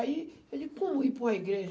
Aí ele, como ir para uma igreja?